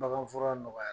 Baganfura nɔgɔya